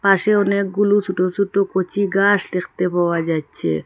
পাশে অনেকগুলো সোটো সোটো কচি গাস দেখতে পাওয়া যাচচে।